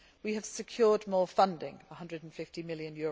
We have secured more funding EUR 150 million.